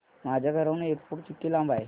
माझ्या घराहून एअरपोर्ट किती लांब आहे